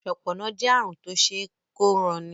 ṣọpọnna jé àrùn Tó ṣeé kóranni